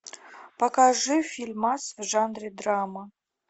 покажи фильмас в жанре драма